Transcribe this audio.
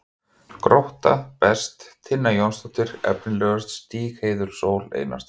Grótta: Best: Tinna Jónsdóttir Efnilegust: Stígheiður Sól Einarsdóttir